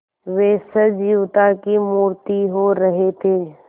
वे सजीवता की मूर्ति हो रहे थे